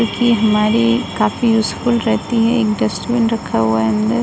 कि हमारी काफी यूस्फुल रहती है रखा हुआ है अंदर।